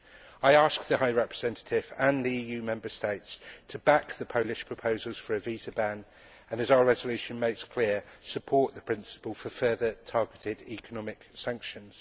I ask the Vice President High Representative and the EU Member States to back the Polish proposals for a visa ban and, as our resolution makes clear, support the principle for further targeted economic sanctions.